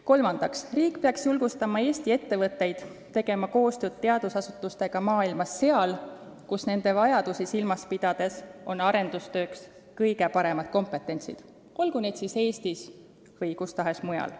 Kolmandaks, riik peaks julgustama Eesti ettevõtteid tegema koostööd teadusasutustega seal, kus nende vajadusi silmas pidades on arendustööks kõige suurem kompetents, olgu need asutused siis Eestis või kus tahes mujal.